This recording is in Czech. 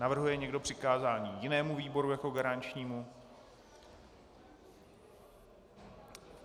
Navrhuje někdo přikázání jinému výboru jako garančnímu?